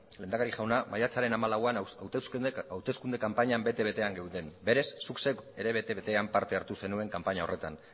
lehendakari jauna maiatzaren hamalauean hauteskunde kanpainan bete betean geunden berez zuk zeuk ere bete betean parte hartu zenuen kanpaina horretan